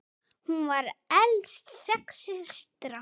Hún var elst sex systra.